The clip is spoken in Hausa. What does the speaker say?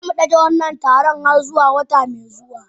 Za mu dage wannan taron har zuwa wata mai zuwa.